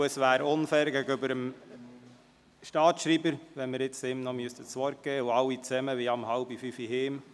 Es wäre sonst dem Staatsschreiber gegenüber unfair, ihm jetzt das Wort zu geben, weil alle um 16.30 Uhr nach Hause gehen möchten.